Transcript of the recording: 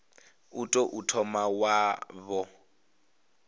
u tou thoma wo vha